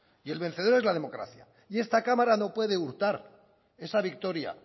y el vencedor es la democracia y esta cámara no puede hurtar esa victoria